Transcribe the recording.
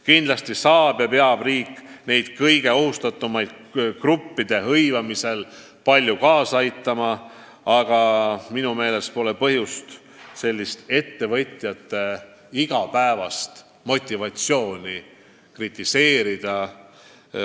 Kindlasti peab riik tööandjaid kõige ohustatumate gruppide hõivamisel palju aitama, aga minu meelest ei ole praegu põhjust ettevõtjaid kritiseerida.